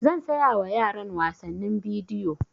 Zan saya wa yaran wasannin bidiyo